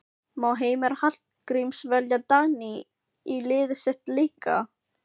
Má Heimir Hallgríms velja Dagný í liðið sitt líka?